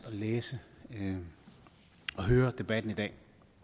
læse den og høre debatten i dag